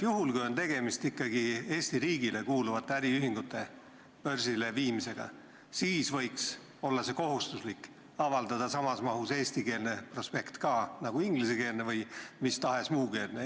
Kui tegemist on ikkagi Eesti riigile kuuluvate äriühingute börsile viimisega, siis võiks olla kohustuslik avaldada samas mahus eestikeelne prospekt, nagu on ingliskeelne või mis tahes muu keelne.